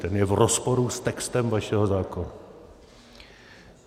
Ten je v rozporu s textem vašeho zákona.